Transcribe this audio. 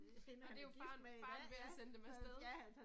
Og det er jo faren, faren ved at sende dem afsted